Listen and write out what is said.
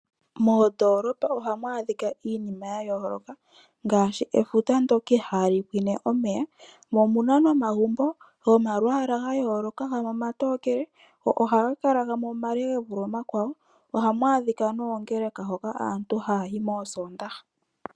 Moondolopa ohamu adhika iinima ya yooloka ngashi efuta ndyoka ihali pwine omeya. Omuna nomagumbo gomalwaala ga yooloka gamwe omatokele, go gamwe ohaga kala omale gevule omakwawo. Ohamu adhika noongeleka hoka aantu ha yayi moosondaha.